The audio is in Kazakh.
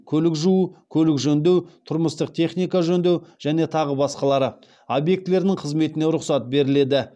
көлік жуу көлік жөндеу тұрмыстық техника жөндеу және тағы басқалары объектілерінің қызметіне рұқсат беріледі